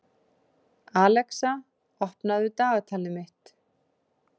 Alexa, opnaðu dagatalið mitt.